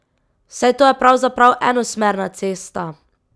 Saj to je pravzaprav enosmerna cesta!